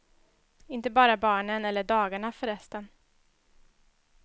Inte bara barnen eller dagarna, förresten.